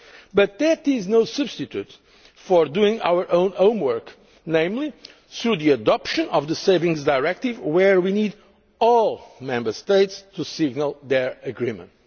priority. But that is no substitute for doing our own homework, namely through the adoption of the Savings Directive, where we need all the Member States to signal their agreement.